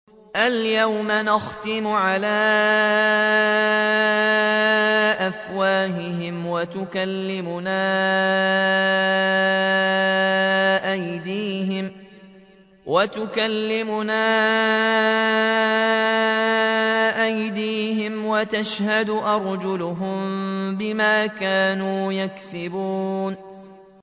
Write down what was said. الْيَوْمَ نَخْتِمُ عَلَىٰ أَفْوَاهِهِمْ وَتُكَلِّمُنَا أَيْدِيهِمْ وَتَشْهَدُ أَرْجُلُهُم بِمَا كَانُوا يَكْسِبُونَ